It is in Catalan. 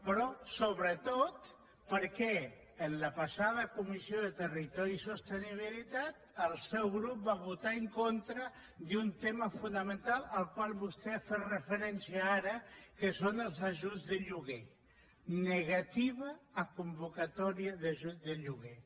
però sobretot perquè en la passada comissió de territori i sostenibilitat el seu grup va votar en contra d’un tema fonamental al qual vostè ha fet referència ara que són els ajuts de lloguer negativa a convocatòria d’ajut de lloguer